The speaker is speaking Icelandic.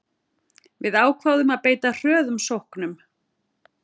Við ákváðum að beita hröðum sóknum